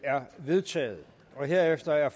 er vedtaget herefter er